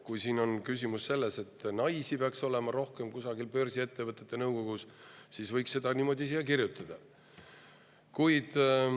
Kui küsimus on selles, et kusagil börsiettevõtte nõukogus peaks olema rohkem naisi, siis niimoodi võikski siia kirjutada.